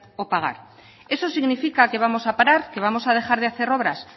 o pagar eso significa que vamos a parar que vamos a dejar de hacer obras